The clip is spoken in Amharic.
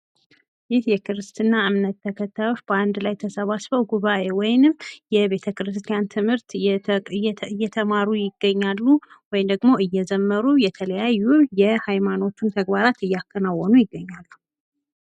ይህ የክርስትና እምነት ተከታዮች በአንድ ላይ ተሰባስበው ጉባኤ ወይም የቤተ ክርስቲያን ትምህርት እየተማሩ ይገኛሉ ወይም ደግሞ እየዘመሩ የተለያዩ የሀይማኖቱን ተግባራት አያከናወኑ ይገኛሉ።